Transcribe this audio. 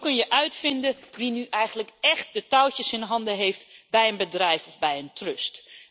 Zo kun je uitvinden wie nu eigenlijk echt de touwtjes in handen heeft bij een bedrijf of bij een trust.